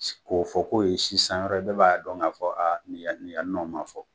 K'o fɔ ko ye sisan wɛrɛ ye bɛɛ b'a dɔn k'a fɔ nin yan nin yan nɔ ma fɔ.